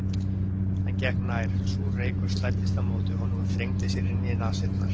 Hann gekk nær, súr reykur slæddist á móti honum og þrengdi sér inn í nasirnar.